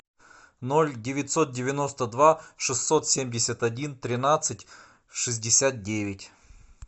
ноль девятьсот девяносто два шестьсот семьдесят один тринадцать шестьдесят девять